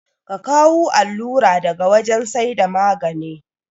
Ka kawu allura daga wajan saida magane